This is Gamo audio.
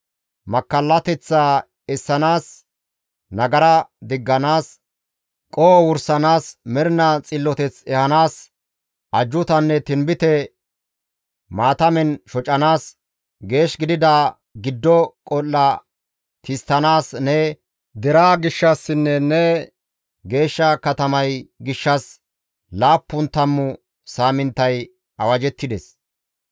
«Makkallateththaa essanaas, nagara digganaas, qoho wursanaas, mernaa xilloteth ehanaas, ajjuutanne tinbite maatamen shocanaas, geesh gidida giddo qol7a tisttanaas ne deraa gishshassinne ne geeshsha katamay gishshas laappun tammu saaminttay awajettides.